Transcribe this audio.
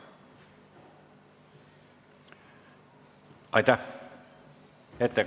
Aitäh!